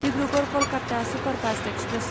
Dibrugarh Kolkata superfast express